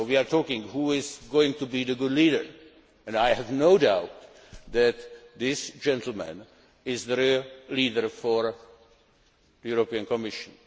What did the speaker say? We are talking about who is going to be the good leader, and I have no doubt that this gentleman is the real leader of the European Commission.